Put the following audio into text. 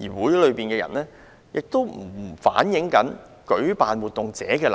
而與會人士的意見並不反映活動舉辦者的立場。